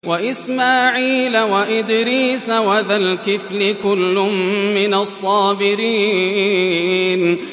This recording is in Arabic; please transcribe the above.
وَإِسْمَاعِيلَ وَإِدْرِيسَ وَذَا الْكِفْلِ ۖ كُلٌّ مِّنَ الصَّابِرِينَ